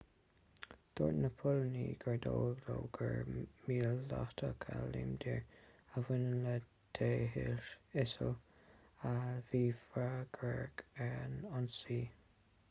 dúirt na póilíní gur dóigh leo gur míleatach a líomhnaítear a bhain le daesh isil a bhí freagrach as an ionsaí